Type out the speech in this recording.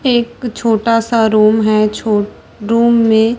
एक छोटा सा रूम हैं छो रूम में--